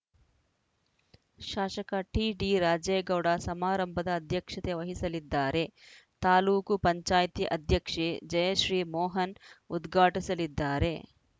ಶಾಸಕ ಟಿಡಿರಾಜೇಗೌಡ ಸಮಾರಂಭದ ಅಧ್ಯಕ್ಷತೆ ವಹಿಸಲಿದ್ದಾರೆ ತಾಲೂಕು ಪಂಚಾಯ್ತಿ ಅಧ್ಯಕ್ಷೆ ಜಯಶ್ರೀಮೋಹನ್‌ ಉದ್ಘಾಟಿಸಲಿದ್ದಾರೆ